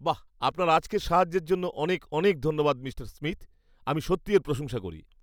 বাহ, আপনার আজকের সাহায্যের জন্য অনেক অনেক ধন্যবাদ, মিঃ স্মিথ। আমি সত্যিই এর প্রশংসা করি!